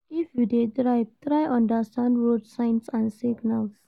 If you de drive try understand road signs and signals